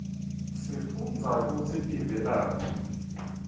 sifundza kutsi tivelaphi